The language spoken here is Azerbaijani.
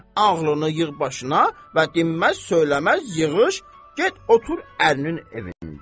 Ağlını yığ başına və dinməz-söyləməz yığış, get otur ərinin evində.